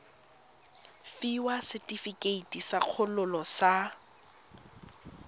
fiwa setefikeiti sa kgololo sa